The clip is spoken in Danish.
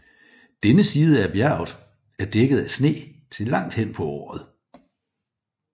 Denne side af bjerget er dækket af sne til langt hen på året